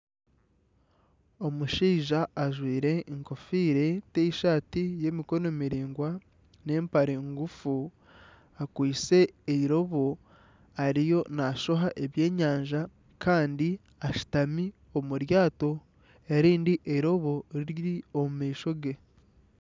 Omushaija ajwaire enkofiira, tishati y'emikono miraingwa n'empare nguufu akwaitse eirobo ariyo nashoha ebyenyanja kandi ashutami omu ryato erindi eirobo riri omu maisho ge.